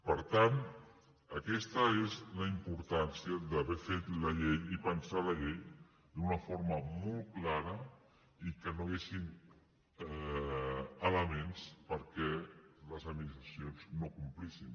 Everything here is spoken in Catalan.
per tant aquesta és la importància d’haver fet la llei i pensar la llei d’una forma molt clara i que no hi haguessin elements perquè les administracions no complissin